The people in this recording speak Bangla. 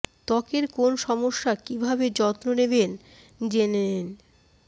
ত্বকের কোন সমস্যা কী ভাবে যত্ন নেবেন জেনে নিন